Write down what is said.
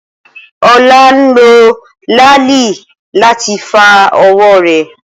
Ola n lo laali lati fa owo re.